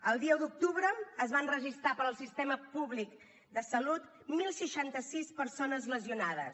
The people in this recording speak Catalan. el dia un d’octubre es van registrar pel sistema públic de salut deu seixanta sis persones lesionades